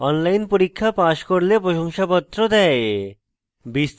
online পরীক্ষা pass করলে প্রশংসাপত্র দেয়